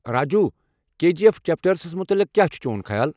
Raju ,K G F chapter زٕ ہَس متعلق كیاہ چھُ چون خیال؟